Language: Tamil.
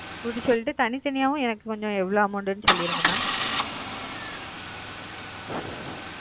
கூட்டி சொல்லிட்டு தனித்தனியாவும் எனக்கு கொஞ்சம் எவ்வளவு amount னு சொல்லிருங்க mam.